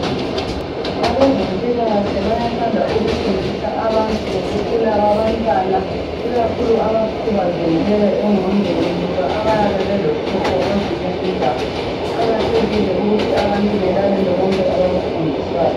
Abezempilakahle bayathanda ukufundisa abantu ngokukhula kwabantwana ikakhulu abakhubazekileyo enqondweni loba abayabe belohlupho kwezinye indawo kuqakathekile ukuthi abantu belalele konke abakufundiswayo